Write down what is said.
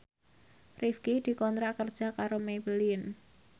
Rifqi dikontrak kerja karo Maybelline